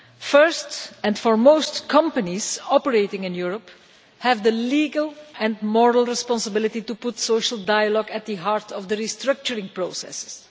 First and foremost, companies operating in Europe have the legal and moral responsibility to put social dialogue at the heart of the restructuring processes.